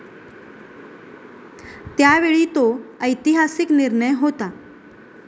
त्यावेळी तो ऐतिहासिक निर्णय होता.